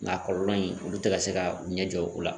Nka kɔlɔlɔ in olu tɛ ka se ka u ɲɛ jɔ u la